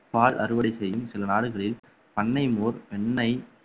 பால் அறுவடை செய்யும் சில நாடுகளில் பண்ணை மோர் வெண்ணெய்